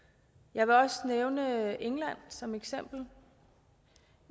jeg vil også nævne england som eksempel